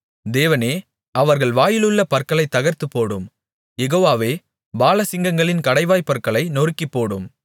தேவனே அவர்கள் வாயிலுள்ள பற்களைத் தகர்த்துப்போடும் யெகோவாவே பாலசிங்கங்களின் கடைவாய்ப்பற்களை நொறுக்கிப்போடும்